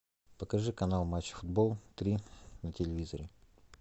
покажи канал матч футбол три на телевизоре